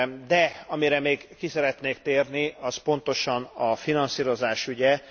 De amire még ki szeretnék térni, az pontosan a finanszírozás ügye.